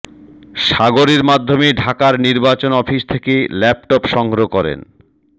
সাগরের মাধ্যমে ঢাকার নির্বাচন অফিস থেকে ল্যাপটপ সংগ্রহ করেন